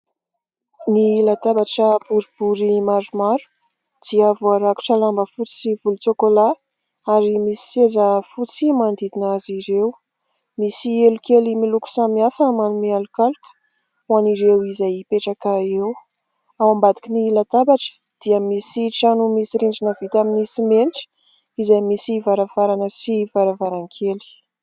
Ny latabatra boribory maromaro dia voarakotra lamba fotsy sy volotsokôla ary misy seza fotsy manodidina azy ireo, misy elo kely miloko samihafa manome alokaloka ho an'ireo izay hipetraka eo ; ao ambadiky ny latabatra dia misy trano misy rindrina vita amin'ny simenitra izay misy varavarana sy varavarankely.